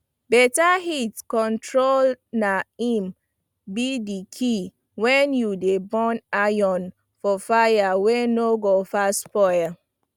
beta heat control na im be d key wen u dey burn iron for fire wey no go fast spoil